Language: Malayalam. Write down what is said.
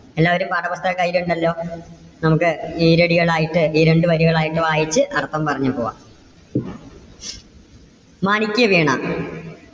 എല്ലാവരും പാഠപുസ്തകം കയ്യിലുണ്ടല്ലോ? നമുക്ക് ഈരടികൾ ആയിട്ട് ഈരണ്ടു വരികൾ ആയിട്ട് വായിച്ച് അർത്ഥം പറഞ്ഞു പോകാം. മാണിക്യവീണ